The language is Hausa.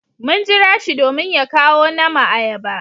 Mun jira shi domin ya kawo nama ayaba.